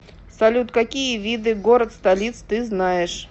салют какие виды город столиц ты знаешь